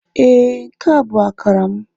Ee, nke a bụ akara m.